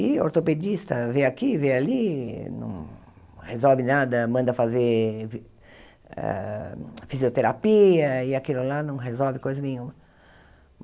E ortopedista vê aqui, vê ali, não resolve nada, manda fazer fi ah fisioterapia e aquilo lá não resolve coisa nenhuma.